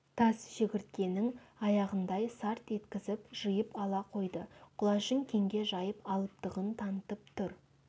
тас шегірткенің аяғындай сарт еткізіп жиып ала қойды құлашын кеңге жайып алыптығын танытып тұр